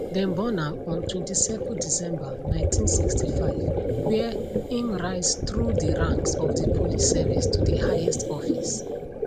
dem born am on 27 december 1965 wia im rise thru di ranks of di police service to di highest office